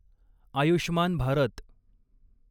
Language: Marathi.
आयुष्मान भारत